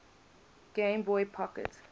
game boy pocket